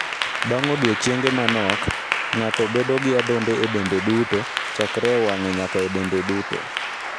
Bang' odiechienge manok, ng'ato bedo gi adhonde e dende duto, chakre e wang'e nyaka e dende duto.